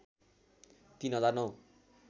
३ हजार ९